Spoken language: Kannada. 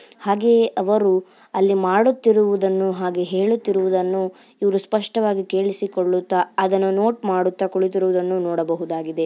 ಹಾಗೆ ಅವರು ಅಲ್ಲಿ ಮಾಡುತ್ತಿರುವುದನ್ನು ಹಾಗೆ ಹೇಳುತ್ತಿರುವುದನ್ನು ಇವರು ಸ್ಪಷ್ಟವಾಗಿ ಕೇಳಿಸಿಕೊಳ್ಳುತ ಅದನ್ನು ನೋಟ್ ಮಾಡುತ್ತಾ ಕುಳಿತಿರುವುದನ್ನು ನೋಡಬಹುದಾಗಿದೆ.